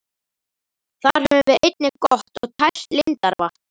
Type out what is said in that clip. Þar höfum við einnig gott og tært lindarvatn.